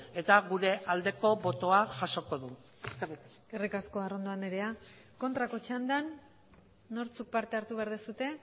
eta gure aldeko botoa jasoko du eskerrik asko eskerrik asko arrondo anderea kontrako txandan nortzuk parte hartu behar duzue